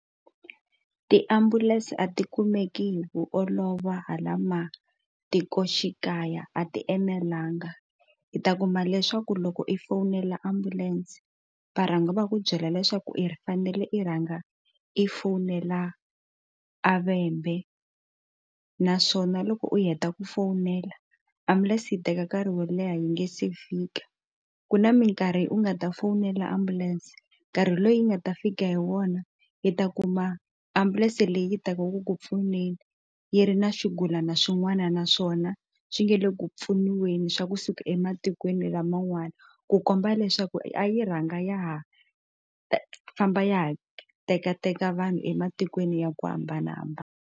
Tiambulense a ti kumeki hi ku olova hala matikoxikaya a ti enelanga i ta kuma leswaku loko i fowunela ambulense va rhanga va ku byela leswaku i fanele i rhanga i fowunela a va tshembe naswona loko hi heta ku fowunela ambulense yi teka nkarhi wo leha yi nga se fika ku na mikarhi u nga ta fowunela ambulense nkarhi loyi hi nga ta fika hi wona yi ta kuma ambulense leyi tekiwaka ku pfuneni yi ri na xigulana swin'wana naswona swi nge le ku pfuniwa njhani swa kusuka ematikweni laman'wana ku komba leswaku yi rhanga ya ha famba ya ha tekateka vanhu ematikweni ya ku hambanahambana.